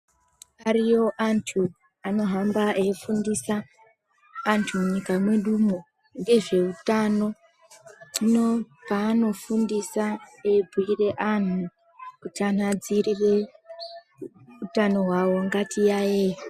Ariyo antu anohamba eifundisa antu munyika mwedumwo ngezveutano, hino paanofundisa eibhire anhu kuti anhadzirire utano hwawo ngatiyaeye.